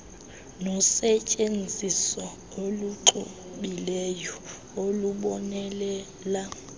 nosetyenziso oluxubileyo olubonelela